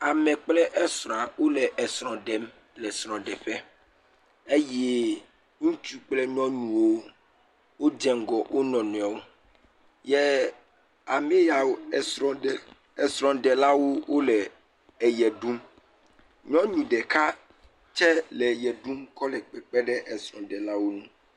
Ame kple esrɔ̃a wole esrɔ̃ ɖem le srɔ̃ɖeƒe eye ŋutsu kple nyunuwo, wodze ŋgɔ wo nɔnɔewo yɛ ame yawo, esrɔ̃ɖe, esrɔ̃ɖelawo wole eye ɖum. Nyɔnu ɖeka tsɛ le eye ɖum kɔle kpekpe ɖe esrɔ̃ɖelawo ŋu.